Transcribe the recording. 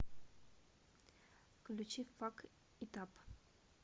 включи фак ит ап